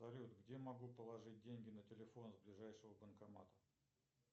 салют где я могу положить деньги на телефон с ближайшего банкомата